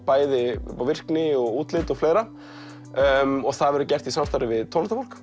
bæði virkni útlit og fleira það verður gert í samstarfi við tónlistarfólk